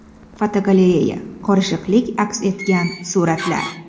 Fotogalereya: Qorishiqlik aks etgan suratlar.